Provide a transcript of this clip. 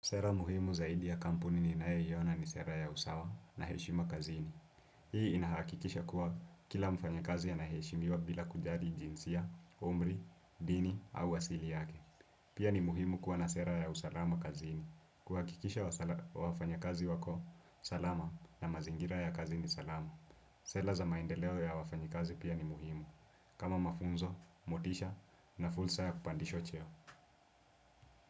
Sera muhimu zaidi ya kampuni ninayoiona ni sera ya usawa na heshima kazini. Hii inahakikisha kuwa kila mfanyekazi ana heshimiwa bila kujari jinsia, umri, dini au asili yake. Pia ni muhimu kuwa na sera ya usalama kazini. Kuhakikisha wafanyekazi wako, salama na mazingira ya kazi ni salama. Sela za maendeleo ya wafanyekazi pia ni muhimu. Kama mafunzo, motisha na fulsa ya kupandishwa cheo.